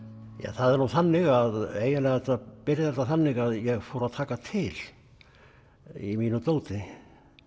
það er nú þannig að eiginlega byrjar þetta þannig að ég fór að taka til í mínu dóti